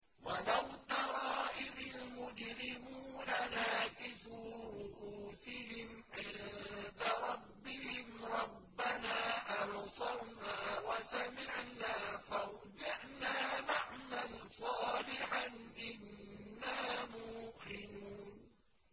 وَلَوْ تَرَىٰ إِذِ الْمُجْرِمُونَ نَاكِسُو رُءُوسِهِمْ عِندَ رَبِّهِمْ رَبَّنَا أَبْصَرْنَا وَسَمِعْنَا فَارْجِعْنَا نَعْمَلْ صَالِحًا إِنَّا مُوقِنُونَ